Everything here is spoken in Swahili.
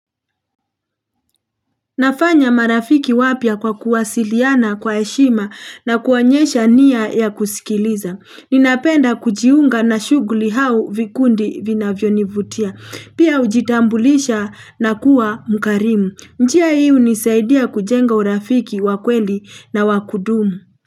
Nafanya marafiki wapya kwa kuwasiliana kwa heshima na kuonyesha nia ya kusikiliza. Ninapenda kujiunga na shughuli au vikundi vinavyonivutia. Pia hujitambulisha na kuwa mkarimu. Njia hii hunisaidia kujenga urafiki wa kweli na wa kudumu.